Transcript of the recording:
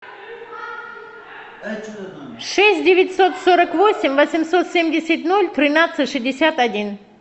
шесть девятьсот сорок восемь восемьсот семьдесят ноль тринадцать шестьдесят один